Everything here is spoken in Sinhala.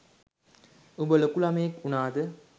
උඹ ලොකු ළමයෙක් උනාද.